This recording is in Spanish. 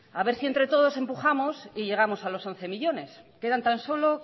haber si entre todos empujamos y llegamos a los once millónes quedan tan solo